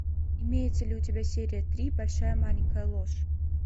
имеется ли у тебя серия три большая маленькая ложь